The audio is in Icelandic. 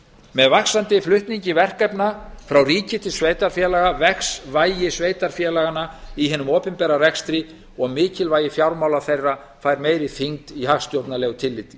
með vaxandi flutningi verkefna frá ríki til sveitarfélaga vex væri sveitarfélaganna í hinum opinbera rekstri og mikilvægi fjármála þeirra fær meiri þyngd í hagstjórnarlegu tilliti